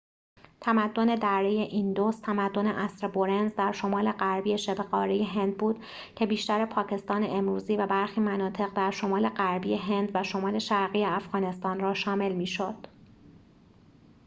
تمدن دره ایندوس تمدن عصر برنز در شمال غربی شبه قاره هند بود که بیشتر پاکستان امروزی و برخی مناطق در شمال غربی هند و شمال شرقی افغانستان را شامل می شد